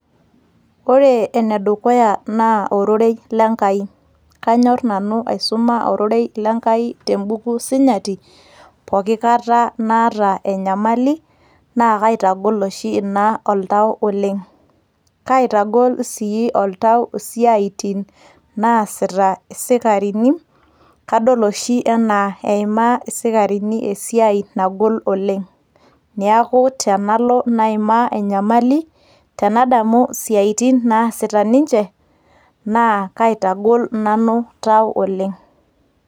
Ore enedukuya naa ororei lenkai. Kanyor nanu aisuma ororei lenkai tebuku sinyati pooki kata naata enyamali, na kaitagol oshi ina oltau oleng'. Kaitagol si oltau isiaitin naasita isikarini, kadol oshi enaa eimaa isikarini esiai nagol oleng'. Neeku tenalo naimaa enyamali, nadamu isiaitin naasita ninche naa kaitagol nanu tau oleng'.